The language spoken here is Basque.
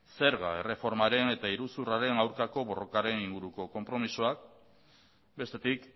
zerga erreformaren eta iruzurraren aurkako borrokaren inguruko konpromezuak bestetik